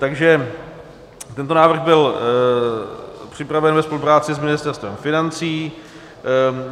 Takže tento návrh byl připraven ve spolupráci s Ministerstvem financí.